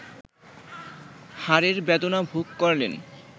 হারের বেদনা ভোগ করলেন